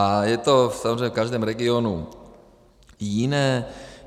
A je to samozřejmě v každém regionu jiné.